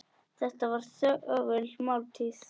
Þetta var þögul máltíð.